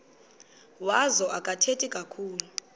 wazo akathethi kakhulu